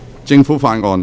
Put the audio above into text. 政府法案。